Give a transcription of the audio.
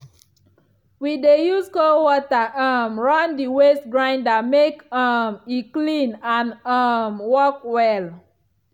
we dey use cold water um run the waste grinder make um e clean and and um work well.